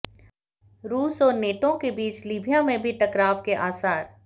रूस और नेटो के बीच लीबिया में भी टकराव के आसार